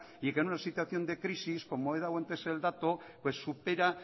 y que en una situación de crisis como he dado antes el dato supera